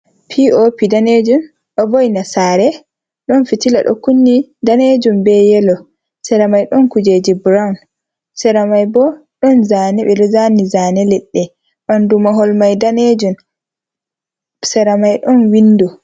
P.O.P daneejum. Ɗo vo'ina sare, ɗon fitila ɗo kunni daneejum be yelo. seramai ɗon kujeje brawn, sera mai bo ɗon zaane, ɓe ɗo zaani zaane leɗɗe. Ɓandu mahol mai daneejum, sera mai ɗon windo.